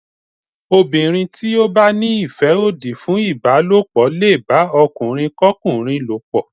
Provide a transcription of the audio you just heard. Obìnrin tí ó bá ní ìfẹ́ òdì fún ìbálòpọ̀ lè bá ọkùnrin kọ́kùnrin lòpọ̀.